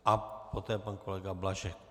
A poté pan kolega Blažek.